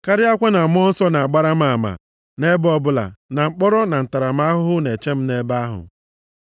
Karịakwa na Mmụọ Nsọ na-agbara m ama nʼebe ọbụla na mkpọrọ na ntaramahụhụ na-eche m nʼebe ahụ.